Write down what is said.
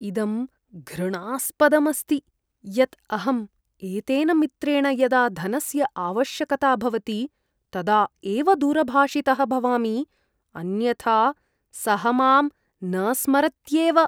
इदं घृणास्पदम् अस्ति यत् अहम् एतेन मित्रेण यदा धनस्य आवश्यकता भवति तदा एव दूरभाषितः भवामि, अन्यथा सः माम् न स्मरत्येव।